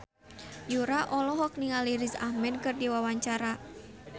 Yura olohok ningali Riz Ahmed keur diwawancara